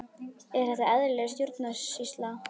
Er þetta eðlileg stjórnsýsla?